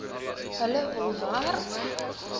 hulle hul werk